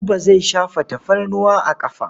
Buba zai shafa tafarnuwa a ƙafa.